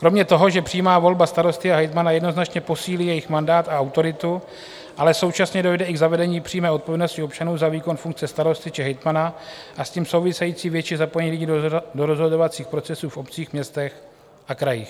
Kromě toho, že přímá volba starosta a hejtmana jednoznačně posílí jejich mandát a autoritu, ale současně dojde i k zavedení přímé odpovědnosti občanů za výkon funkce starosty či hejtmana a s tím související větší zapojení lidí do rozhodovacích procesů v obcích, městech a krajích.